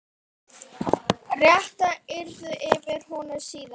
Réttað yrði yfir honum síðar.